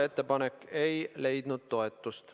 Ettepanek ei leidnud toetust.